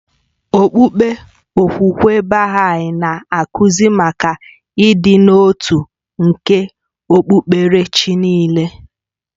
Okpukpe okwukwe Baha'i na-akụzi maka ịdị n'otu nke okpukpere chi niile